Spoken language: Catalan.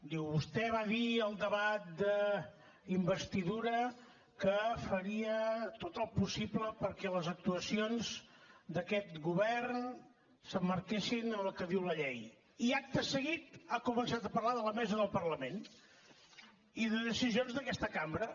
diu vostè va dir al debat d’investidura que faria tot el possible perquè les actuacions d’aquest govern s’emmarquessin en el que diu la llei i acte seguit ha començat a parlar de la mesa del parlament i de decisions d’aquesta cambra